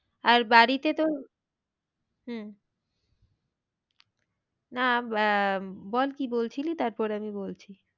আর বাড়িতে তো হম না বল কি বলছিলি তারপর আমি বলছি।